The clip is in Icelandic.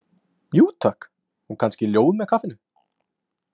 Jú, takk, og kannski ljóð með kaffinu?